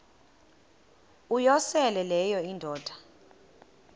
uyosele leyo indoda